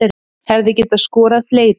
Hefði getað skorað fleiri